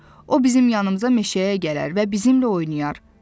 O bizim yanımıza meşəyə gələr və bizimlə oynayar.